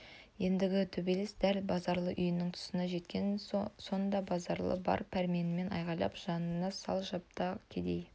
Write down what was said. ендігі төбелес дәл базаралы үйінің тұсына жеткен сонда базаралы бар пәрменімен айғайлап жаныңды сал қапта кедей